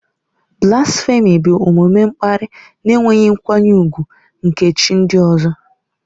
Blasfèmi bụ omume mkparị na enweghị nkwanye ùgwù nke chi ndị mmadụ.